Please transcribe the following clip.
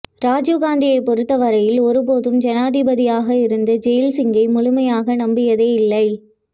ராஜிவ்காந்தியைப் பொறுத்தவரையில் ஒருபோதும் ஜனாதிபதியாக இருந்த ஜெயில்சிங்கை முழுமையாக நம்பியதே இல்லை